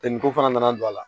Tɛ ni ko fana nana don a la